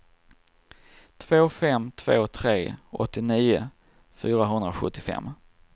två fem två tre åttionio fyrahundrasjuttiofem